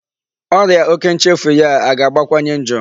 Ọrịa òkè nchefu ya a ga-akawanye njọ?